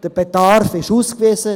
Der Bedarf ist ausgewiesen.